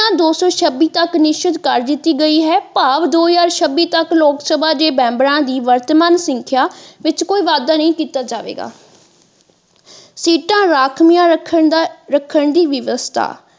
ਦੋ ਸੋ ਛੱਬੀ ਤਕ ਨਿਸ਼ਚਿਤ ਕਰ ਦਿੱਤੀ ਗਈ ਹੈ ਭਾਵ ਦੋ ਹਜ਼ਾਰ ਛੱਬੀ ਤੱਕ ਲੋਕਸਭਾ ਦੇ ਮੈਂਬਰਾਂ ਦੀ ਵਰਤਮਾਨ ਸੰਖਿਆ ਵਿੱਚ ਕੋਈ ਵਾਧਾ ਨਹੀਂ ਕੀਤਾ ਜਾਵੇਗਾ ਸੀਟਾਂ ਰਾਖਵੀਆਂ ਰੱਖਣ ਦਾ ਰੱਖਣ ਦੀ ਵਿਵਸਥਾ।